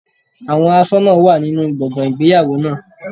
Àwọn aṣọ́nà wà nínú gbọ̀ngàn ìgbéyàwó náà.